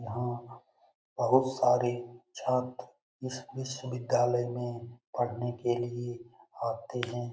यहाँ बहुत सारे छात्र इस विश्वविद्यालय मे पढ़ने के लिए आते हैं।